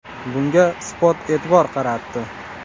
Bunga Spot e’tibor qaratdi .